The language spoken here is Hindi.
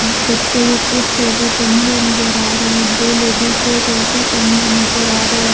बच्चे के स्वेटर टंगे हुए नजर आ रहे हैं दो लेडी के स्वेटर टंगे हुए नजर आ रहे--